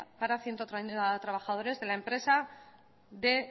para ciento treinta trabajadores de la empresa de